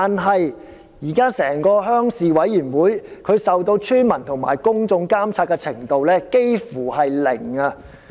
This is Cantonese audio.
可是，現時鄉事會受村民和公眾監察的程度卻差不多是零。